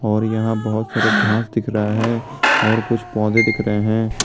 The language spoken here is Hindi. और यहां बहुत सारा घास दिख रहा है और कुछ पौधे भी दिखे रहे हैं।